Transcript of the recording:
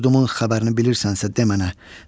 yurdumun xəbərini bilirsənsə de mənə.